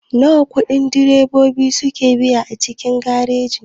Wana ƙudi direbobi suke biya a cikin gareji?